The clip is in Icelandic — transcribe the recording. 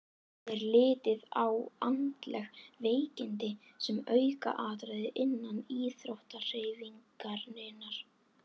Er litið á andleg veikindi sem aukaatriði innan íþróttahreyfingarinnar?